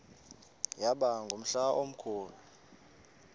yaba ngumhla omkhulu